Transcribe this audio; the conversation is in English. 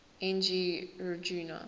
n g rjuna